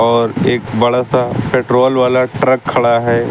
और एक बड़ा सा पेट्रोल वाला ट्रक खड़ा है।